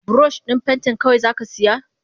Burosh din pentin kawai zaka siya?